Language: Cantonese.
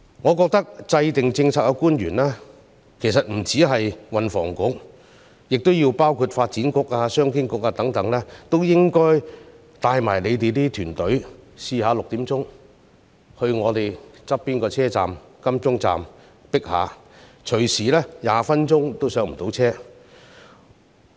我認為制訂政策的官員，不單是運輸及房屋局的官員，還有發展局和商務及經濟發展局等的官員都應該帶同自己的團隊，下午6時到我們鄰近的港鐵金鐘站體驗一下擠迫的情況，隨時20分鐘都不能上車。